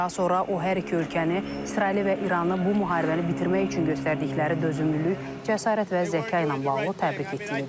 Daha sonra o hər iki ölkəni, İsraili və İranı bu müharibəni bitirmək üçün göstərdikləri dözümlülük, cəsarət və zəka ilə bağlı təbrik etdiyini bildirib.